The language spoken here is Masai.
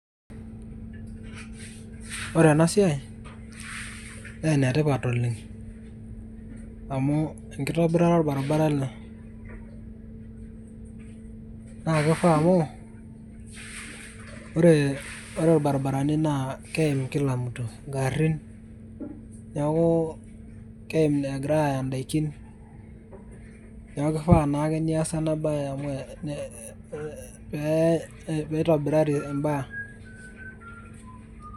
ore ena siai naa enetipat oleng, amu enkitobirata orbaribara ele, naa kifaa amu, ore irbaribarani naa keimkila mtu, igarin, neeku keim egir aaya daikin. neeku kifaa naa ake neesa ena bae pee eitobirari ibaa.